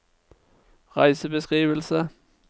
reisebeskrivelse